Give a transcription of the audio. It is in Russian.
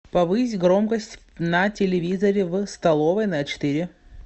повысь громкость на телевизоре в столовой на четыре